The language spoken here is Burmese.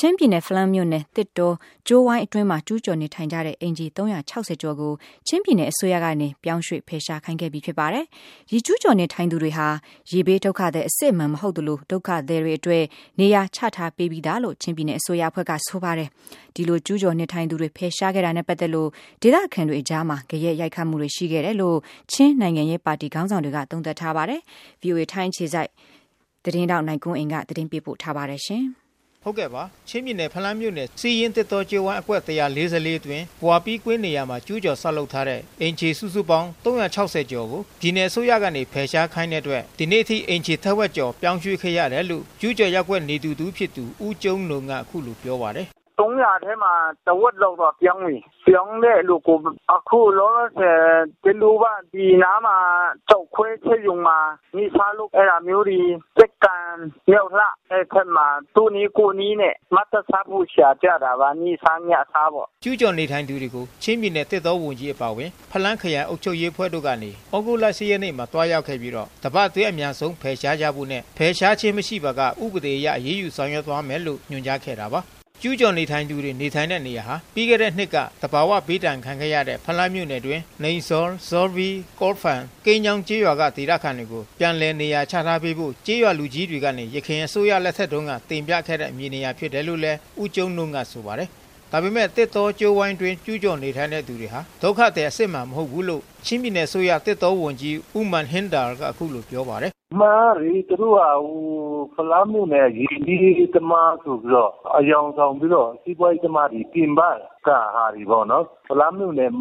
ချင်းပြည်နယ် ဖလမ်းမြို့နယ် သစ်တောကြိုးဝိုင်းအတွင်းမှာကျူးကျော်နေထိုင်တဲ့ အိမ်ခြေ ကျော်ကို ချင်းပြည်နယ် အစိုးရကနေ ပြောင်းရွှေ့ဖယ်ရှား ခိုင်းခဲ့ပြီးဖြစ်ပါတယ်။ ဒီကျူးကျော်နေထိုင်သူတွေဟာ ရေဘေးဒုက္ခသည် အစစ်အမှန် မဟုတ်သလို ဒုက္ခသည်တွေအတွက် နေရာချထားပေးပြီးသားလို့ ချင်းပြည်နယ်အစိုးရအဖွဲ့ကဆိုပါတယ်။ ဒီလိုကျူးကျော် နေထိုင်သူတွေဖယ်ရှားခဲ့တာနဲ့ပက်သက်လို့ ဒေသခံတွေအကြားမှာ ဂယက် ရိုက်ခတ်မှုတွေရှိနေခဲ့တယ်လို့ ချင်းနိုင်ငံရေး ပါတီခေါင်းဆောင်တွေ ကသုံးသပ်ထားပါတယ်။ ဗွီအိုအေထိုင်းအခြေစိုက်သတင်းထောက် နိုင်ကွန်းအိန်ကနေ သတင်းပေးပို့ထားပါတယ်။ ချင်းပြည်နယ် ဖလမ်းမြို့နယ် ဆီးယင်းသစ်တောကြိုးဝိုင်းအကွက် အတွင်း ဘွာလ်ပီးကွင်းနေရာမှာ ကျူးကျော် ဆောက်ထားတဲ့ အိမ်ခြေစုစုပေါင်း ၃၆၀ ကျော်ကို ပြည်နယ်အစိုးရကနေ ဖယ်ရှားခိုင်းတဲ့အတွက် ဒီနေ့အထိအိမ်ခြေ ထက်ဝက်ကျော် ပြောင်းရွှေ့ခဲ့ရတယ်လို့ ကျူးကျော်ရပ်ကွက်နေသူတဦးဖြစ်သူ ဦးကျုံးနုန်းကအခုလိုပြောပါတယ်။ “၃၀၀ ထဲမှာ တဝက်လောက်တော့ပြောင်းပြီ။ ပြောင်းတဲ့လူကို အခုလောလောဆယ် ပြောင်းတဲ့လူတွေက ကျောက်ခွဲစက်ရုံမှာ နေ့စားလုပ် အဲဒါမျိုးတွေ လက်ကံ၊ မြှောက်လှ အဲဒီဘက်မှာ သူ့နည်းကိုယ့်နည်းနဲ့ ၁ နပ်စားဖို့ ရှာကြတာပါ နေ့စား၊ ညစားပေါ့။” ကျူးကျော်နေထိုင်သူတွေကို ချင်းပြည်နယ်သစ်တောဝန်ကြီးအပါအဝင် ဖလမ်းခရိုင်အုပ်ချူပ်ရေးမှူးအဖွဲ့တို့ကနေ သြဂုတ် လ ၈ ရက်နေ့မှာသွားရောက်ပြီး တပါတ်အတွင်းအမြန်ဆုံးဖယ်ရှားကြဖို့နဲ့ ဖယ်ရှားခြင်းမရှိပါက ဥပဒေအရအရေးယူ ဆောင်ရွက်သွားမယ်လို့ညွှန်ကြားခဲ့တာပါ။ ကျူးကျော်နေထိုင်သူတွေနေထိုင်တဲ့နေရာဟာ ပြီးခဲ့သည့်နှစ်က သဘာဝဘေးဒဏ်ခံခဲ့ရတဲ့ ဖလမ်းမြို့နယ်အတွင်း နီမ်ဇောလ်၊ ဇောလ်ပီး၊ ကောလ်ဖန်း၊ ကိမ်းညောင်း ကျေးရွာက ဒေသခံတွေကို ပြန်လည်နေရာချထားပေးဖို့ကျေးရွာလူကြီး တွေကနေယခင်အစိုးရ လက်ထက်တုန်းက တင်ပြခဲ့တဲ့မြေနေရာဖြစ်တယ်လို့လဲ ဦးကျုံးနုန်းကဆိုပါတယ်။ ဒါပေမဲ့ သစ်တောကြိုးဝိုင်းအတွင်း ကျူးကျော်နေထိုင်သူတွေဟာ ဒုက္ခသည်အစစ်မှန်မဟုတ်ဘူးလို့ ချင်းပြည်နယ် သစ်တောဝန်ကြီး ဦးမာန်ဟင်းဒါလ်ကအခုလိုပြောပါတယ်။ “အမှန်ကလေ သူတို့က ဖလမ်းမြို့နယ် ရေဘေးသမားဆိုပြီးတော့ အယောင်ဆောင်ပြီးတော့ စီးပွားရေးသမား ပြင်ပက ဟာတွေပေါ့နော် ဖလမ်းမြို့နယ်